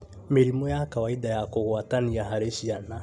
Mĩrimũ ya kawaida ya kũgwatania harĩ ciana